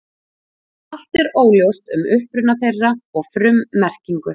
Allt er óljóst um uppruna þeirra og frummerkingu.